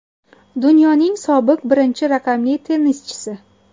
Dunyoning sobiq birinchi raqamli tennischisi.